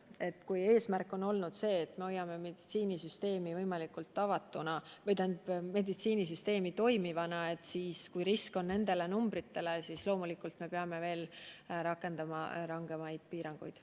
Aga kui põhieesmärk on see, et me hoiame meditsiinisüsteemi võimalikult toimivana, siis selliste numbrite korral me loomulikult peame rakendama rangemaid piiranguid.